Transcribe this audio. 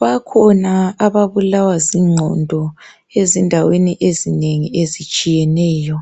Bakhona ababulawa zingqondo ezindaweni ezinengi ezitshiyeneyo,